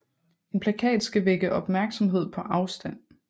En plakat skal vække opmærksomhed på afstand